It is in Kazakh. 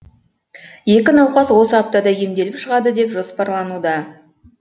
екі науқас осы аптада емделіп шығады деп жоспарлануда